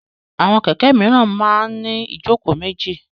Àwọn kẹ̀kẹ́ míràn máa ń ní ìjókòó méjì.